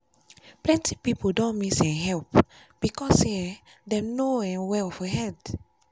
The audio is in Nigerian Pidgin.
plenty peiple don miss um help because say um them no um well for head.